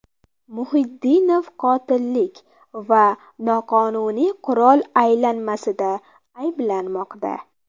Muhiddinov qotillik va noqonuniy qurol aylanmasida ayblanmoqda .